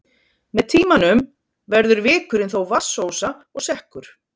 Með tímanum verður vikurinn þó vatnsósa og sekkur.